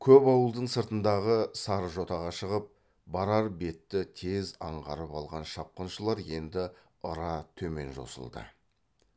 көп ауылдың сыртындағы сарыжотаға шығып барар бетті тез аңғарып алған шапқыншылар енді ыра төмен жосылды